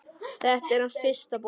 Þetta er hans fyrsta bók.